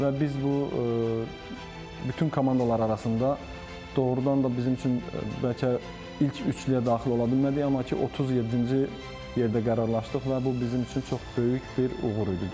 Və biz bu bütün komandalar arasında doğrudan da bizim üçün bəlkə ilk üçliyə daxil ola bilmədik, amma ki 37-ci yerdə qərarlaşdıq və bu bizim üçün çox böyük bir uğur idi.